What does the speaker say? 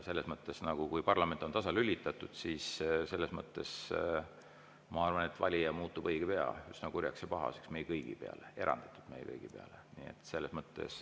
Selles mõttes, et kui parlament on tasalülitatud, siis, ma arvan, valija muutub õige pea üsna kurjaks ja pahaseks meie kõigi peale, eranditult meie kõigi peale.